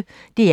DR P1